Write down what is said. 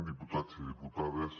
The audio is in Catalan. diputats i diputades